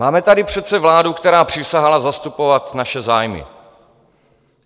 Máme tady přece vládu, která přísahala zastupovat naše zájmy.